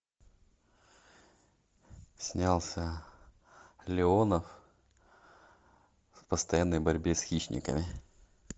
снялся леонов в постоянной борьбе с хищниками